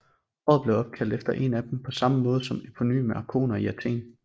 Året blev opkaldt efter en af dem på samme måde som eponyme arkoner i Athen